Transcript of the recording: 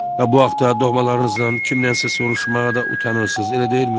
Və bu haqta doğmalarınızdan kimdənsə soruşmağa da utanırsınız, elə deyilmi?